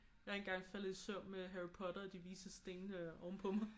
Jeg er engang faldet i søvn med Harry Potter og De Vises Sten ovenpå mig